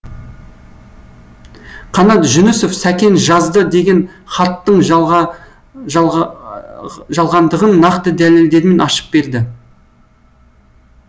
қанат жүнісов сәкен жазды деген хатттың жалғандығын нақты дәлелдермен ашып берді